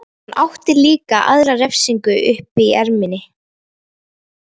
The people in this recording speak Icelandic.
Hann átti líka aðra refsingu uppi í erminni.